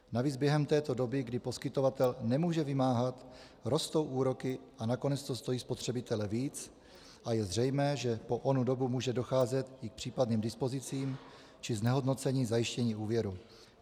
Navíc během této doby, kdy poskytovatel nemůže vymáhat, rostou úroky a nakonec to stojí spotřebitele víc a je zřejmé, že po onu dobu může docházet i k případným dispozicím či znehodnocení zajištění úvěru.